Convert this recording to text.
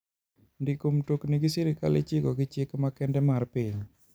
Ndiko mtokni gi sirkal ichiko gi chik makende mar piny.